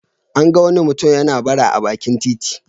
An ga wani mutum yana bara a bakin titi.